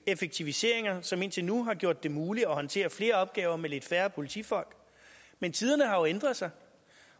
effektiviseringer som indtil nu har gjort det muligt at håndtere flere opgaver med lidt færre politifolk men tiderne har jo ændret sig